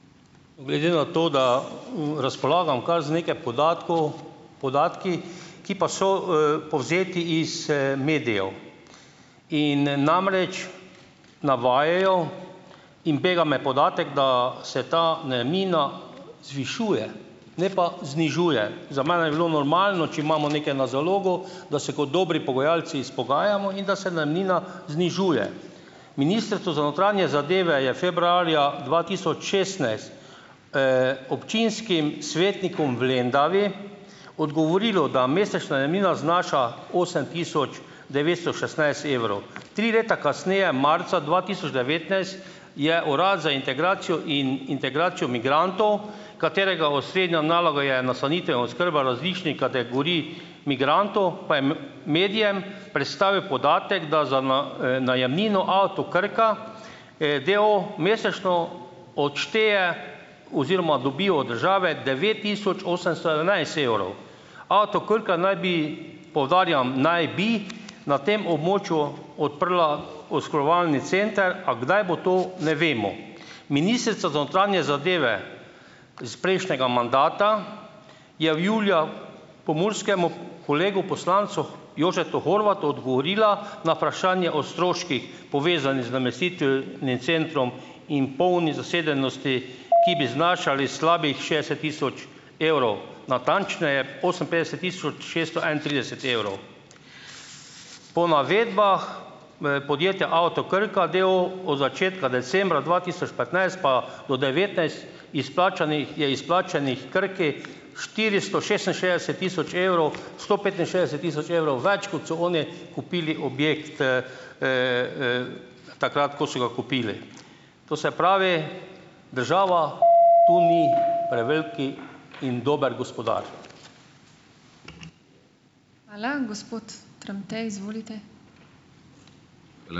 Glede na to, da, razpolagam kar z nekaj podatkov, podatki, ki pa so, povzeti iz, medijev in namreč navajajo - in bega me podatek, da se ta najemnina zvišuje, ne pa znižuje. Za mene bi bilo normalno, če imamo nekaj na zalogo, da se kot dobri pogajalci izpogajamo in da se najemnina znižuje. Ministrstvo za notranje zadeve je februarja dva tisoč šestnajst, občinskim svetnikom v Lendavi odgovorilo, da mesečna najemnina znaša osem tisoč devetsto šestnajst evrov. Tri leta kasneje, marca dva tisoč devetnajst je urad za integracijo in integracijo migrantov, katerega osrednja naloga je nastanitev in oskrba različnih kategorij migrantov, pa je medijem predstavil podatek, da za najemnino Avto Krka, da o o, mesečno odšteje oziroma dobi od države devet tisoč osemsto sedemnajst evrov. Avto Krka naj bi, poudarjam, naj bi na tem območju odprla oskrbovalni center, a kdaj bo to, ne vemo. Ministrica za notranje zadeve iz prejšnjega mandata je v julija pomurskemu kolegu poslancu Jožetu Horvatu odgovorila na vprašanje o stroških, povezanih z namestitvijo centrov, in polni zasedenosti, ki bi znašali slabih šestdeset tisoč evrov, natančneje oseminpetdeset tisoč šeststo enaintrideset evrov. Po navedbah, podjetja Avto Krka, d. o. o., od začetka decembra dva tisoč petnajst pa do devetnajst izplačanih je izplačanih Krki štiristo šestinšestdeset tisoč evrov, sto petinšestdeset tisoč evrov več, kot so oni kupili objekt, takrat, ko so ga kupili. To se pravi, država to ni prevelik in dober gospodar.